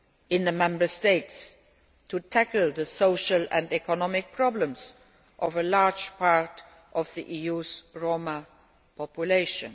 in the Member States to tackle the social and economic problems of a large part of the EU's Roma population.